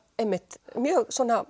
mjög